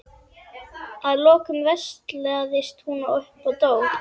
Að lokum veslaðist hún upp og dó.